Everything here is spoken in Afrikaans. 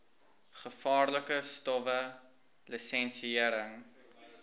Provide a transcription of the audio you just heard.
gevaarlike stowwe lisensiëring